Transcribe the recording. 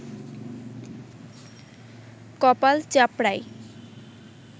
কপাল চাপড়ায়